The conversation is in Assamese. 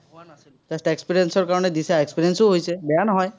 just experience ৰ কাৰণে দিছা, experience ও হৈছে, বেয়া নহয়।